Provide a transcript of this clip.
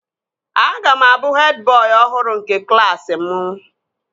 Aga m abụ hed bọị ọhụrụ nke klaasị mụ